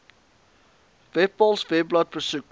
webpals webblad besoek